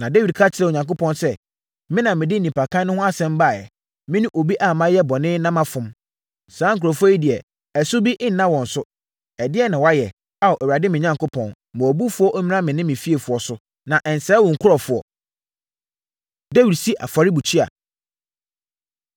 Na Dawid ka kyerɛɛ Onyankopɔn sɛ, “Me na mede nnipakan no ho asɛm baeɛ! Me ne obi a mayɛ bɔne na mafom. Saa nkurɔfoɔ yi deɛ, ɛso bi nna wɔn so. Ɛdeɛn na wɔayɛ? Ao Awurade me Onyankopɔn, ma wʼabufuo mmra me ne me fiefoɔ so, na nsɛe wo nkurɔfoɔ.” Dawid Si Afɔrebukyia